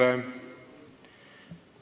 Ei ole.